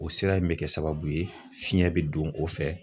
O sira in be kɛ sababu ye fiɲɛ be don o fɛ